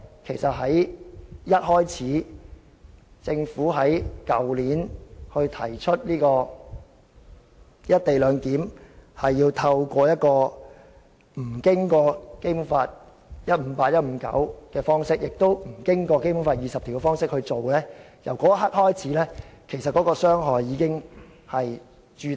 其實由政府去年一開始提出"一地兩檢"安排無須按《基本法》第一百五十八條、第一百五十九條及第二十條處理那一刻開始，傷害已經形成。